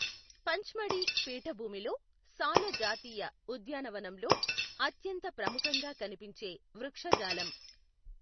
పంచ్మడీ పీఠభూమిలో సాల జాతీయ ఉద్యానవనంలో అత్యంత ప్రముఖంగా కనిపించే వృక్షజాలం.